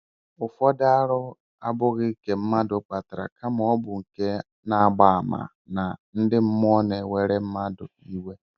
Ụfọdụ arụ abụghị nke mmadụ kpatara kama ọ bụ nke na-agba àmà na ndị mmụọ na-ewere ndị mmadụ iwe